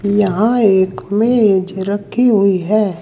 यहां एक मेज रखी हुई हैं।